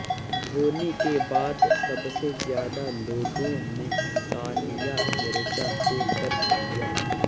धोनी के बाद सबसे ज्यादा लोगों ने सानिया मिर्जा को सर्च किया